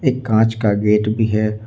एक कांच का गेट भी है।